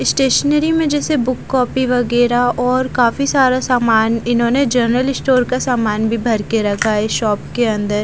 stationery में जैसे book copy वगैरा और काफी सारा सामान इन्होंने जनरल स्टोर का सामान भी भर के रखा है शॉप के अंदर--